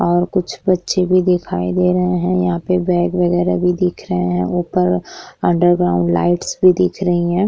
और कुछ बच्चे भी दिखाई दे रहे हैं। यहाँ पर बैग्स वागेरा भी दिख रहे हैं ऊपर अंडरग्राउंड लाइटस भी दिख रही है।